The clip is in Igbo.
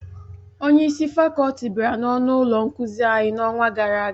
Onye isi fakọlti bịara n'ọnụ ụlọ nkuzi anyị n'ọnwa gara aga